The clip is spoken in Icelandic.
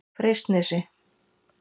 Freysnesi